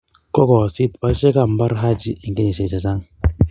Kokoyoosit boiseikab mbar Haji eng kenyishe che chang.